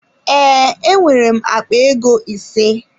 Ee, enwere m akpa ego ise.